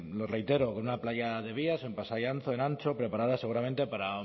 lo reitero con una playa de vías en pasai antxo en antxo preparadas seguramente para